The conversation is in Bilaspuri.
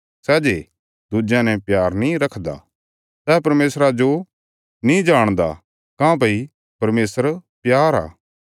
सै जे दुज्यां ने प्यार नीं रखदा सै परमेशरा जो नीं जाणदा काँह्भई परमेशर प्यार आ